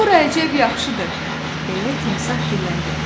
"Bura əcəb yaxşıdır," deyə timsah dilləndi.